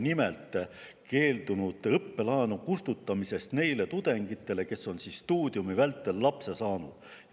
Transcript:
Nimelt on valitsus keeldunud kustutamast nende tudengite õppelaenu, kes on stuudiumi vältel lapse saanud.